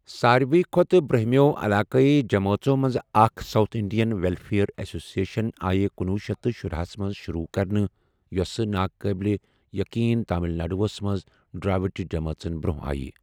سارِوٕیہ کھۄتہٕ برٛوٗنٛہِمیو٘ علٲقٲیی جمٲژو منٛزٕ اَکھ، ساوُتھ اِنٛڈِین وٮ۪لفِیَر ایٚسوسِییشَنٕ آیہِ کنۄہ شیتھ شُراہسَ منٛز شُروٗع کرنہٕ، یۄسہٕ تامِل ناڈوٗوس منٛز ڈرٛاوِڈِ جمٲژن برٛونٛہہ آیہ ۔